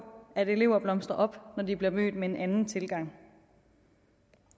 at elever blomstrer op når de bliver mødt med en anden tilgang